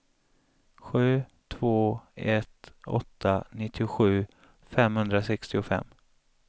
sju två ett åtta nittiosju femhundrasextiofem